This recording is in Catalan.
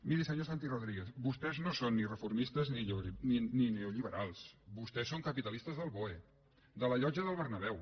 miri senyor santi rodríguez vostès no són ni reformistes ni neolliberals vostès són capitalistes del boe de la llotja del bernabéu